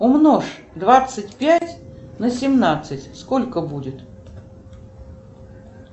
умножь двадцать пять на семнадцать сколько будет